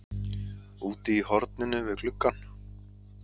Úti í horninu við gluggann